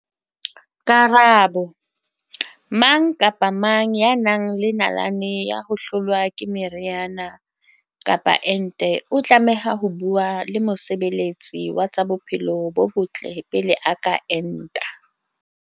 Karabo- Mang kapa mang ya nang le nalane ya ho hlolwa ke meriana kapa ente o tlameha ho bua le mosebe letsi wa tsa bophelo bo botle pele a ka enta.